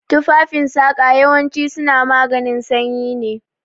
Tufafen saƙa yawancin su suna maganin sanyi ne